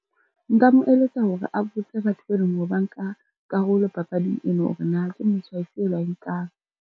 Nka mo eletsa hore a botse batho be leng hore ba nka karolo papading eno, hore na ke motjha ofe ba o nkang.